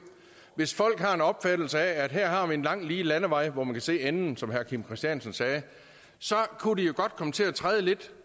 hvis folk har en opfattelse af at her har vi en lang lige landevej hvor man kan se enden som herre kim christiansen sagde så kunne de jo godt komme til at træde lidt